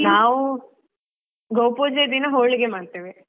ನಾವು ಗೋಪೂಜೆ ದಿನ ಹೋಳಿಗೆ ಮಾಡ್ತೇವೆ.